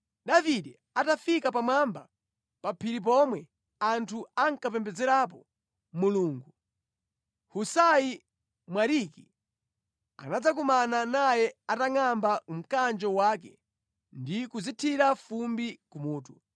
Davide atafika pamwamba pa phiri pomwe anthu ankapembedzerapo Mulungu, Husai Mwariki anadzakumana naye atangʼamba mkanjo wake ndi kudzithira fumbi kumutu.